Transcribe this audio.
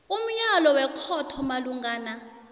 umyalo wekhotho malungana